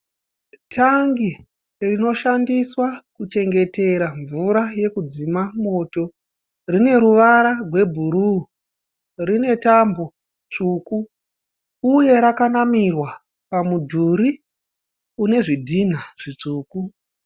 Tangi rinoshandiswa kuchengetera mvura yokudzima moto. Rine ruvara rwebhuru, rine tambo tsvuku uye rakanamirwa pamudhuri une zvindhinha zvitsvuku.